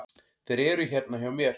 Þeir eru hérna hjá mér.